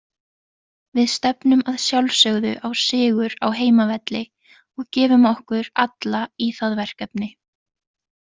Við stefnum að sjálfsögðu á sigur á heimavelli og gefum okkur alla í það verkefni.